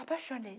Apaixonei.